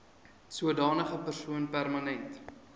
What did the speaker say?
sodanige persoon permanent